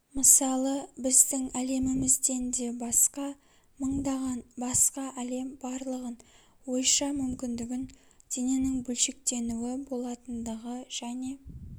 мысалға біздің әлемімізден де баска мыңдаған басқа әлем барлығын ойша мүмкіндігін дененің бөлшектенуі болатындығы және